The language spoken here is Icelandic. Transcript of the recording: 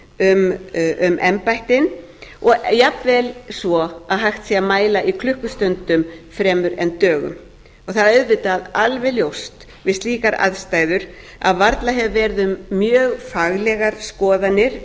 inn um embættin og jafnvel svo að hægt sé að mæla í klukkustundum fremur en dögum og það er auðvitað alveg ljóst við slíkar aðstæður að varla hefur verið um mjög faglegar skoðanir